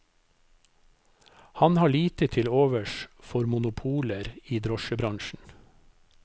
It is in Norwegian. Han har lite til overs for monopoler i drosjebransjen.